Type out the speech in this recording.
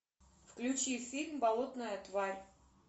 включи фильм болотная тварь